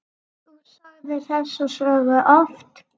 Þú sagðir þessa sögu oft.